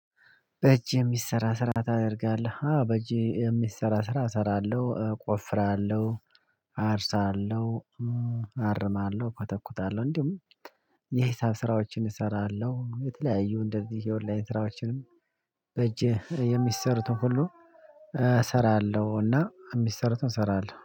በእጅ የሚሰራ ስራ ታደርጋለህ በእጅ የሚሰራ ስራ እሰራለሁ ቆፍራለሁ አርሳለሁ አርማለሁ ኮተኩታለሁ እንዲሁም የሂሳብ ስራዎችን እሰራለሁ የተለያዩ እንደዚህ የኦንላይን ስራዎችም። በእጅህ የሚሰሩትን ሁሉ። እሰራለሁ እና የሚሰሩትን እሰራለሁ